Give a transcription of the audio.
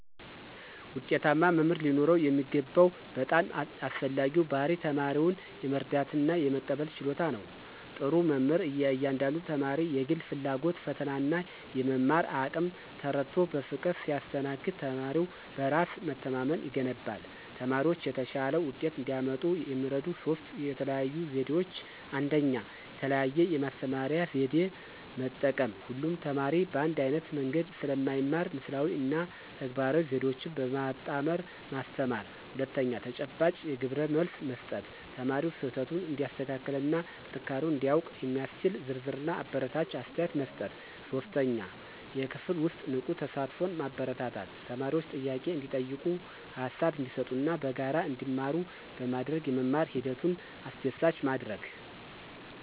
ውጤታማ መምህር ሊኖረው የሚገባው በጣም አስፈላጊው ባሕርይ ተማሪውን የመረዳትና የመቀበል ችሎታ ነው። ጥሩ መምህር የእያንዳንዱን ተማሪ የግል ፍላጎት፣ ፈተናና የመማር አቅም ተረድቶ በፍቅር ሲያስተናግድ ተማሪው በራስ መተማመን ይገነባል። ተማሪዎች የተሻለ ውጤት እንዲያመጡ የሚረዱ ሦስት የተለዩ ዘዴዎች፦ 1. የተለያየ የማስተማሪያ ዘዴ መጠቀም: ሁሉም ተማሪ በአንድ ዓይነት መንገድ ስለማይማር ምስላዊ እና ተግባራዊ ዘዴዎችን በማጣመር ማስተማር። 2. ተጨባጭ ግብረመልስ መስጠት: ተማሪው ስህተቱን እንዲያስተካክልና ጥንካሬውን እንዲያውቅ የሚያስችል ዝርዝርና አበረታች አስተያየት መስጠት። 3. የክፍል ውስጥ ንቁ ተሳትፎን ማበረታታት: ተማሪዎች ጥያቄ እንዲጠይቁ፣ ሃሳብ እንዲሰጡና በጋራ እንዲማሩ በማድረግ የመማር ሂደቱን አስደሳች ማድረግ።